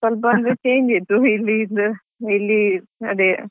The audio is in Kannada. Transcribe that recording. ಸ್ವಲ್ಪ change ಇತ್ತು ಇಲ್ಲಿದ್ದು ಇಲ್ಲಿ ಅದೇ.